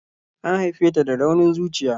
An haife ta da raunin zuciya.